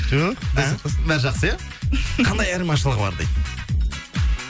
жоқ құдай сақтасын бәрі жақсы иә қандай айырмашылығы бар дейді